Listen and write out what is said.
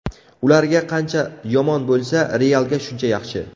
Ularga qancha yomon bo‘lsa, ‘Real’ga shuncha yaxshi.